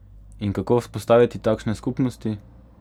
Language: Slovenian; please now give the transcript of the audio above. In kako vzpostaviti takšne skupnosti?